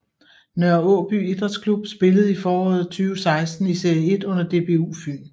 Nørre Aaby Idrætsklub spillede i foråret 2016 i Serie 1 under DBU Fyn